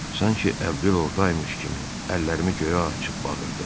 Sanki Əbdül orda imiş kimi, əllərimi göyə açıb bağırdım.